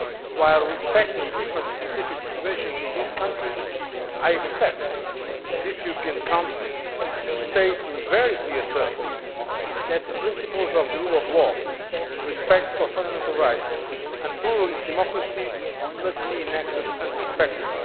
While respecting the different specific situations in these countries, I expect this European Council to state in very clear terms that the principles of the rule of law and respect for fundamental rights and pluralist democracy must be enacted and respected.